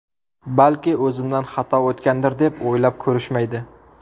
Balki o‘zimdan xato o‘tgandir deb o‘ylab ko‘rishmaydi.